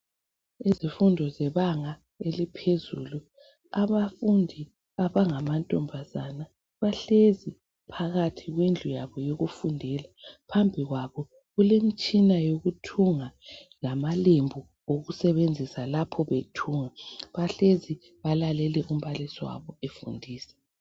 Izifundo zebanga eliphezulu abafundi abangamantombazane bahlezi phakathi kwendlu yabo yokufundela phambi kwabo kulemtshina yokuthunga lamalembu abo okosebenza lapha bethunga bahlezi balalele umbalisi wabo efundisa.